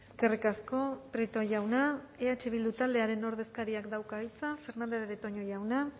eskerrik asko prieto jauna eh bildu taldearen ordezkariak dauka hitza fernandez de betoño jauna